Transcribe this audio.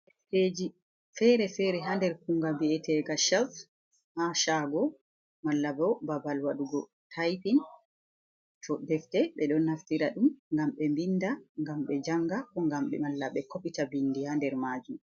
Fere fere ha nder kunga bi’etega shevs ha shago mala bo babal wadugo taipin to defde be don nastira dum gam be mbinda ngam be janga ko gam mala be kopica bindi ha nder majun.